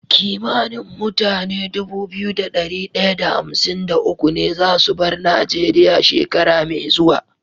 Kimanin mutane Dubu biyu da dari daya da hamsin da uku ne zasu bar nigeria shekara me zuwa